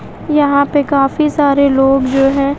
यहां पे काफी सारे लोग जो है।